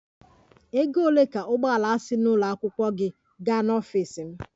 Ego ole ka ụgbọ ala si n'ụlọ akwụkwọ gị gaa n'ọfịs m?